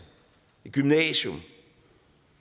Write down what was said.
et gymnasium